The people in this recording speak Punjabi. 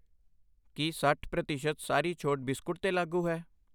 ਕੀ ਸੱਠ ਪ੍ਰਤੀਸ਼ਤ ਸਾਰੀ ਛੋਟ ਬਿਸਕੁਟ ਤੇ ਲਾਗੂ ਹੈ?